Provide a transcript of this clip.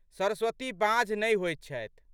सरस्वती बाँझ नहि होइत छथि।